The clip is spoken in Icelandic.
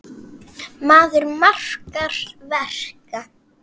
Maður margra verka.